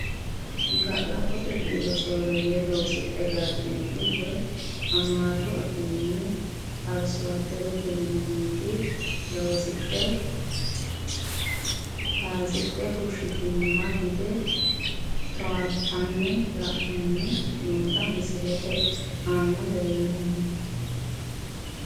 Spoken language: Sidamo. Ga`labbote biiro sooreye loosidhe galtinori woyi amaaru afiini arsowaderete yinaniti loosidhe kaasidhe fushitinoha gide towaatanina la`ani noota misilete aana la`neemo.